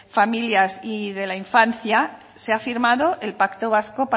familias y de la infancia se ha firmado el pacto vasco